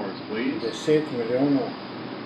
Deset milijonov!